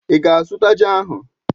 Í ga-azụta ji ahụ?